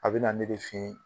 A bɛ na ne de fen